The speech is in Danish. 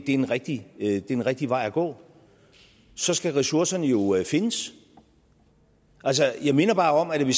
en rigtig en rigtig vej at gå så skal ressourcerne jo findes altså jeg minder bare om at da vi